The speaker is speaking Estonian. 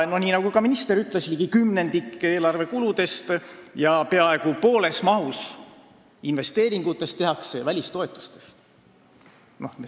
Nii nagu ka minister ütles, ligi kümnendik eelarve kuludest ja peaaegu pool investeeringutest tehakse välistoetustest.